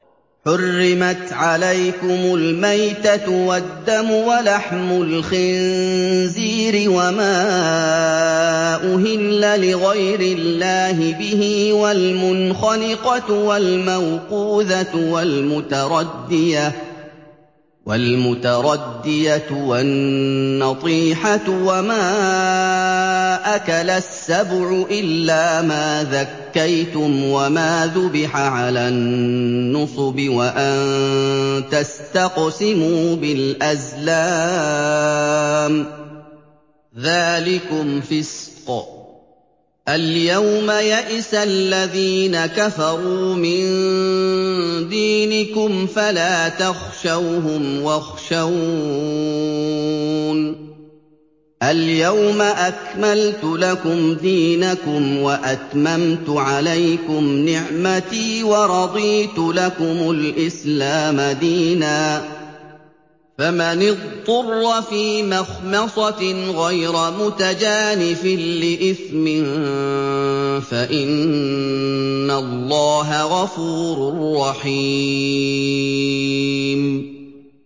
حُرِّمَتْ عَلَيْكُمُ الْمَيْتَةُ وَالدَّمُ وَلَحْمُ الْخِنزِيرِ وَمَا أُهِلَّ لِغَيْرِ اللَّهِ بِهِ وَالْمُنْخَنِقَةُ وَالْمَوْقُوذَةُ وَالْمُتَرَدِّيَةُ وَالنَّطِيحَةُ وَمَا أَكَلَ السَّبُعُ إِلَّا مَا ذَكَّيْتُمْ وَمَا ذُبِحَ عَلَى النُّصُبِ وَأَن تَسْتَقْسِمُوا بِالْأَزْلَامِ ۚ ذَٰلِكُمْ فِسْقٌ ۗ الْيَوْمَ يَئِسَ الَّذِينَ كَفَرُوا مِن دِينِكُمْ فَلَا تَخْشَوْهُمْ وَاخْشَوْنِ ۚ الْيَوْمَ أَكْمَلْتُ لَكُمْ دِينَكُمْ وَأَتْمَمْتُ عَلَيْكُمْ نِعْمَتِي وَرَضِيتُ لَكُمُ الْإِسْلَامَ دِينًا ۚ فَمَنِ اضْطُرَّ فِي مَخْمَصَةٍ غَيْرَ مُتَجَانِفٍ لِّإِثْمٍ ۙ فَإِنَّ اللَّهَ غَفُورٌ رَّحِيمٌ